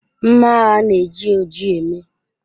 Mma agha na-eji oji eme.